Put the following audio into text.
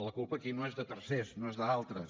la culpa aquí no és de tercers no és d’altres